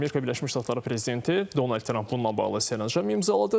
Amerika Birləşmiş Ştatları prezidenti Donald Tramp bununla bağlı sərəncam imzaladı.